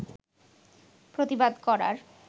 প্রতিবাদ করার